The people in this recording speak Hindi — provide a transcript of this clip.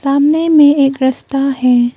सामने में एक रस्ता है।